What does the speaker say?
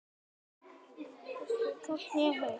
Á morgun skyldi það vera.